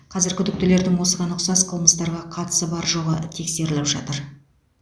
қазір күдіктілердің осыған ұқсас қылмыстарға қатысы бар жоғы тексеріліп жатыр